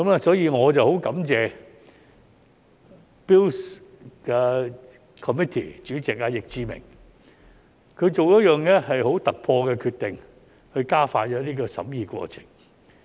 所以，我很感謝 Bills Committee 主席易志明議員，他作出一項很突破的決定以加快審議過程。